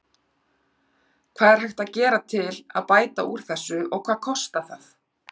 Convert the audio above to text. Hvað er hægt að gera til að bæta úr þessu og hvað kostar það?